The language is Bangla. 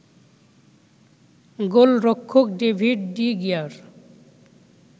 গোলরক্ষক ডেভিড ডি গিয়ার